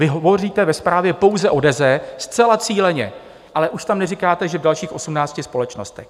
Vy hovoříte ve zprávě pouze o Deze, zcela cíleně, ale už tam neříkáte, že v dalších 18 společnostech.